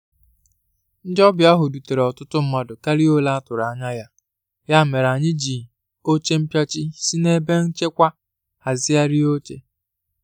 Ndị ọbịa ahu dutere ọtụtụ mmadụ karịa óle a tụrụ anya ya, ya mere, anyị ji oche mpịachi si n'ebe nchekwa hazigharịa oche.